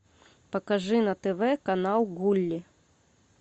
покажи на тв канал гулли